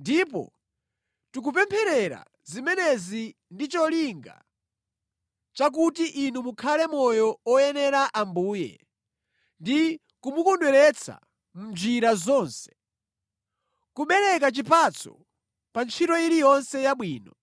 Ndipo tikupempherera zimenezi ndi cholinga chakuti inu mukhale moyo oyenera Ambuye ndi kumukondweretsa mʼnjira zonse. Kubereka chipatso pa ntchito iliyonse yabwino,